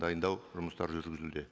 дайындау жұмыстары жүргізілуде